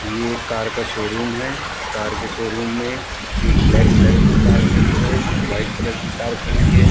ये एक कार का शोरूम है। कार के शोरूम में एक ब्लैक कलर की कार खड़ी है। वाइट कलर की कार खड़ी है।